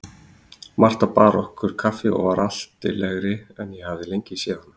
Marta bar okkur kaffi og var altillegri en ég hafði lengi séð hana.